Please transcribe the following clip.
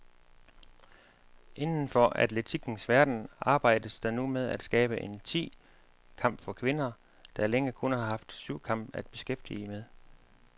Inden for atletikkens verden arbejdes der nu med at skabe en ti kamp for kvinder, der længe kun har haft syvkamp at beskæftige med.